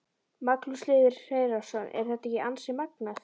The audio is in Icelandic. Magnús Hlynur Hreiðarsson: Er þetta ekki ansi magnað?